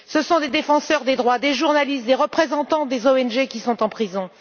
Ce sont des défenseurs des droits, des journalistes, des représentants d'ONG qui sont en prison.